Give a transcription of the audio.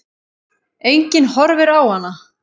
Enginn horfir á hana.